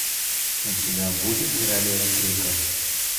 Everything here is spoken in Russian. у тебя будет королева крика